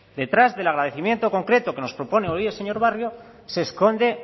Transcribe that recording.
detrás del agradecimiento concreto que nos propone hoy el señor barrio se esconde